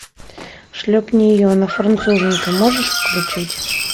шлепни ее она француженка можешь включить